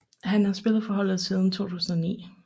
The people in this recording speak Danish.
Han har spillet for holdet siden 2009